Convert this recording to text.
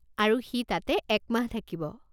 আৰু সি তাতে এক মাহ থাকিব।